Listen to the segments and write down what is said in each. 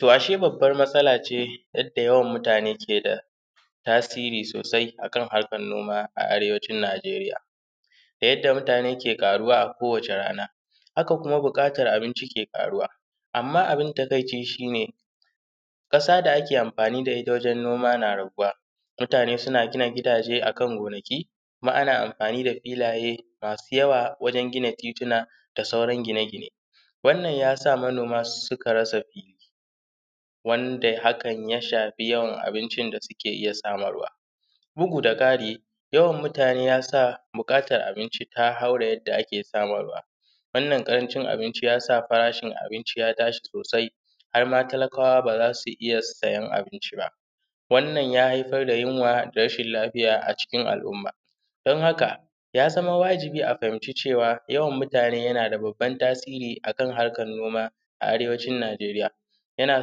to ashe bubbar matsala ce yadda yawan mutane ke da tasiri sosai a kan harkan noma a arewacin najeriya da yadda mutane ke ƙaruwa a kowace rana haka kuma buƙatar abinci ke ƙaruwa amma abin takaici shi ne ƙasa da ake amfani da ita wajan noma na raguwa mutane suna gina gidaje a kan gonaki kuma ana amfani da filaye masu yawa wajan gina titina da sauran gine gine wannan ya sa manoma suka rasa fili wanda hakan ya shafi yawan abincin da suke iya samarwa bugu da ƙari yawan mutane ya sa buƙatar abinci ta haure yadda ake samarwa wannan ƙarancin abinci ya sa farashin abinci ya tashi sosai harma talakawa ba za su iya siyan abinci ba wannan ya haifar da yunwa da rashin lafiya a cikin al’umma don haka ya zama wajibi a fahimci cewa yawan mutane yana da bubban tasiri a kan harkan noma a arewacin najeriya yana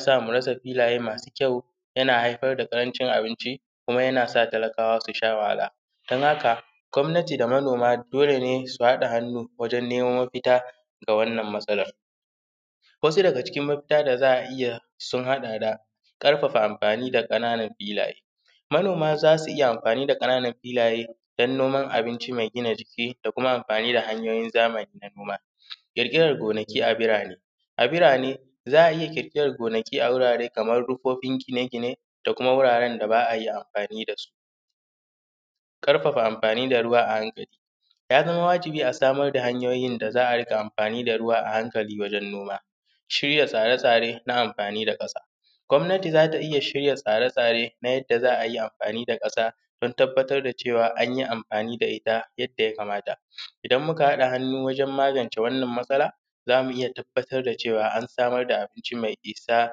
sa mu rasa filaye masu kyau yana haifar da ƙarancin abinci kuma ya na sa talakawa su sha wahala don haka gwamnati da manoma dole ne su haɗa hannu wajen neman mafita ga wannan matsalan wasu daga cikin mafita da za a iya sun haɗa da ƙarfafa amfani da ƙananan filaye manoma za su iya amfani da ƙananan filaye don noman abinci mai gina jiki da kuma amfani da hanyoyin zamani na noma ƙirƙiran gonaki a birane birane za a iya ƙirƙiran gonaki a wurare kamar rumfofin gine gine da kuma guraren da ba a iya amfani da su ƙarfafa amfani da ruwa a hankali ya zama wajibi a samar da hanyoyin da za a ringa amfani da ruwa a hankali wajan noma shirya tsare tsare na amfani da ƙasa gwamnati za ta iya shirya tsare tsare na yadda za a yi amfani da ƙasa don tabbatar da cewa anyi amfani da ita yadda ya kamata idan muka haɗa hannu wajen magance wannan matsala zamu iya tabbatar da cewa an samar da abinci mai isa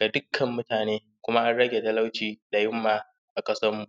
da dukkan mutane kuma an rage talauci da yunwa a ƙasar mu